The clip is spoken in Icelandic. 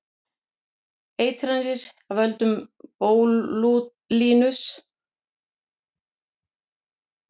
Eitranir af völdum bótúlíns verða oftast þegar menn fá illa meðhöndlaðan mat.